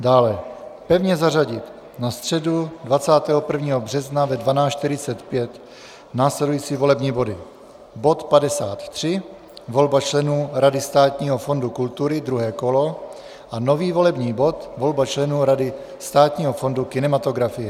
Dále pevně zařadit na středu 21. března ve 12.45 následující volební body: bod 53 - volba členů Rady Státního fondu kultury, 2. kolo, a nový volební bod - volba členů Rady Státního fondu kinematografie.